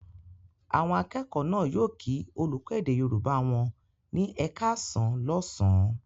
Àwọn akẹ́kọ̀ọ́ náà yóò kí olùkọ́ èdè Yorùbá wọn ní "ẹ káàsán" lọ́sàn-án.